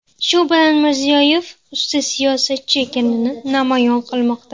Shu bilan Mirziyoyev usta siyosatchi ekanini namoyon qilmoqda.